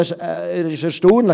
Es ist erstaunlich: